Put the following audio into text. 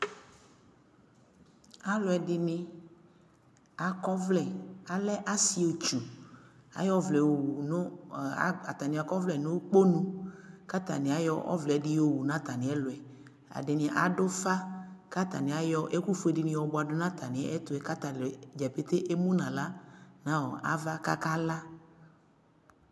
alʋɛdini akɔ ɔvlɛ, alɛ asii ɛtwʋ, ayɔ ʋvlɛ yɔwʋ nʋakɔ ʋvlɛ nʋ ʋkpɔnʋ kʋ atani ayɔ ɔvlɛ di wʋ nʋ atani ɛlʋɛ, ɛdini adʋ ʋƒa kʋ ataniayɔ ɛkʋ ƒʋɛ dini bʋadʋ nʋ atani ɛtʋɛ kʋ atagya pɛtɛɛ ɛmʋnʋ ala nʋ aɣa kʋ aka la'